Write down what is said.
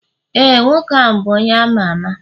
ee, nwoke ahụ bụ onye ama ama